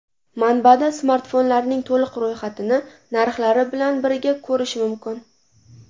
Manbada smartfonlarning to‘liq ro‘yxatini narxlari bilan birga ko‘rish mumkin.